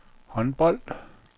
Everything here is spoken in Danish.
håndbold